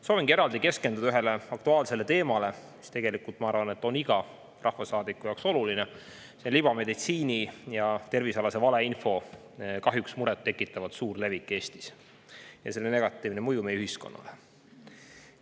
Soovin eraldi keskenduda ühele aktuaalsele teemale, mis, ma arvan, on oluline iga rahvasaadiku jaoks: libameditsiini ja tervisealase valeinfo murettekitavalt suur levik Eestis ja selle negatiivne mõju meie ühiskonnale.